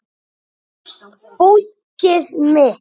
Fólkið mitt